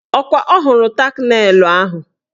Ọkwa ọ hụrụ tak nelụ ahụ?